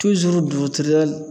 dutiriyal